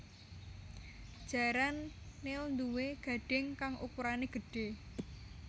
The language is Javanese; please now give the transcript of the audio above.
Jaran nil nduwé gadhing kang ukurané gedhé